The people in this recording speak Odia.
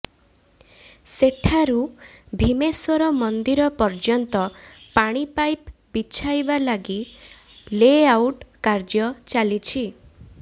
ସେଠାରୁ ଭୀମେଶ୍ବର ମନ୍ଦିର ପର୍ଯ୍ୟନ୍ତ ପାଣି ପାଇପ୍ ବିଛାଇବା ଲାଗି ଲେ ଆଉଟ୍ କାର୍ଯ୍ୟ ଚାଲିଛି